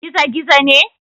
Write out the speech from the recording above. Gizo-gizo ne?